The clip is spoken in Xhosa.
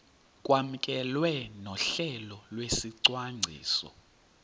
kwamkelwe nohlelo lwesicwangciso